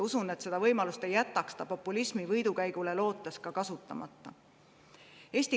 Usun, et seda võimalust ei jätaks ta populismi võidukäigule lootes kasutamata.